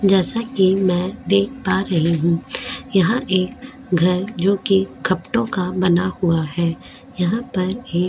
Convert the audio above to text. जैसा कि मैं देख पा रही हूं यहां एक घर जो कि खपटों का बना हुआ है यहां पर --